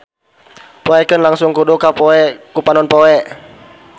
Poekeun langsung kudu ka poe ku panon poe.